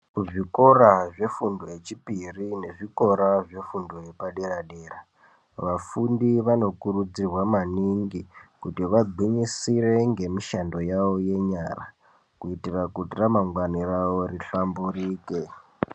Kuzvikora zvefundo yechipiri nezvikora zvefundo yepadera-dera. Vafundi vanokurudzirwa maningi kuti vagwinyire ngemishando yavo yenyara. Kuitira kuti ramangwani ravo rihlamburike.